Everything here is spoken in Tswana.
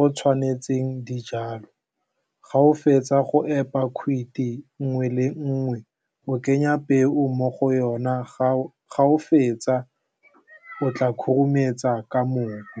o tshwanetseng dijalo, ga o fetsa go epa kgwithi nngwe le nngwe, o kenya peo mo go yona ga o fetsa o tla khurumetsa ka mobu.